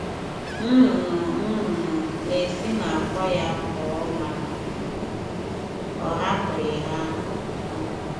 Nnụnụ nnụnụ na-esi n'àkwá ya pụọ ma ọ hapụghị ha um